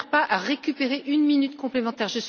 Ils ne servent pas à récupérer une minute complémentaire.